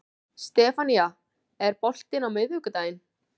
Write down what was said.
Stefanía, er bolti á miðvikudaginn?